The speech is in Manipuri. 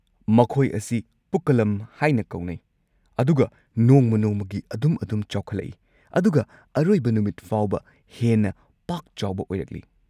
ꯃꯈꯣꯏ ꯑꯁꯤ ꯄꯨꯛꯀꯂꯝ ꯍꯥꯏꯅ ꯀꯧꯅꯩ ꯑꯗꯨꯒ ꯅꯣꯡꯃ-ꯅꯣꯡꯃꯒꯤ ꯑꯗꯨꯝ-ꯑꯗꯨꯝ ꯆꯥꯎꯈꯠꯂꯛꯏ ꯑꯗꯨꯒ ꯑꯔꯣꯏꯕ ꯅꯨꯃꯤꯠ ꯐꯥꯎꯕ ꯍꯦꯟꯅ ꯄꯥꯛꯆꯥꯎꯕ ꯑꯣꯢꯔꯛꯂꯤ꯫